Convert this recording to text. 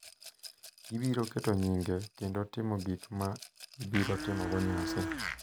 Gibiro keto nyinge kendo timo gik ma gibiro timogo nyasi.